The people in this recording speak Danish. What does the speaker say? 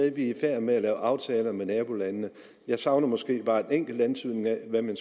i færd med at lave aftaler med nabolandene jeg savner måske bare en enkelt antydning af hvad mere